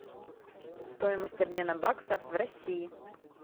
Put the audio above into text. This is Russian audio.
стоимость обмена баксов в россии